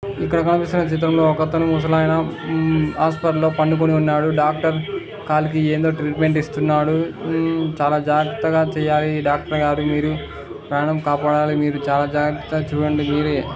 ఇక్కడ కనిపిస్తున్న చిత్రంలో ఒకతను ముసలాయన మ్మ్ హాస్పిటల్ లో పండుకొని ఉన్నాడు డాక్టర్ కాలికి ఏదో ట్రీట్మెంట్ ఇస్తున్నాడు. మ్మ్ చాలా జాగ్రత్తగా చేయాలి ఈ డాక్టరు గారు మీరు ప్రాణం కాపాడాలి మీరు చాలా జాగ్రత్త చూడండి మీరే.